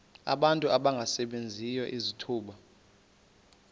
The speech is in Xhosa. abantu abangasebenziyo izithuba